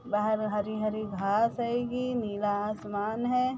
बहार में हरी-हरी घास हेगी नीला आसमान है।